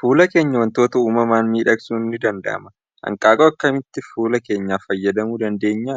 Fuula keenya wantoota uumamaan miidhagsuun ni danda'amaa? Hanqaaquu akkamitti fuula keenyaaf fayyadamuu dandeenya?